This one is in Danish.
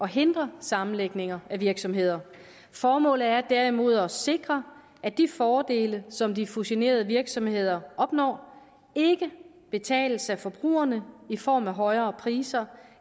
hindre sammenlægninger af virksomheder formålet er derimod at sikre at de fordele som de fusionerede virksomheder opnår ikke betales af forbrugerne i form af højere priser